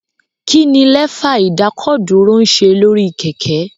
Kí ni Lẹ́fà ìdákọ̀dúró ń ṣe lórí kẹ̀kẹ́?